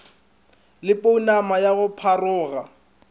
le pounama ya go pharoga